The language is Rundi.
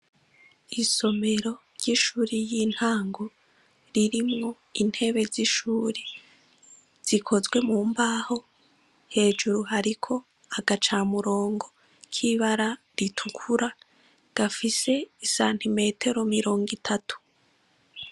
Isomero ry'ishure yintago, ririmwo intebe zishure. Zikozwe mumbaho hejuru hariko agacamurongo kibara ritukura gafise santimetero 30.